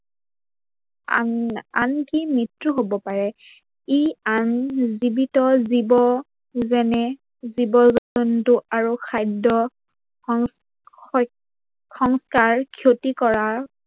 আনকি মৃত্যু হব পাৰে। ই আন জীৱিত জীৱ যেনে জীৱ-জন্তু আৰু খাদ্য সত্তাৰ ক্ষতি কৰা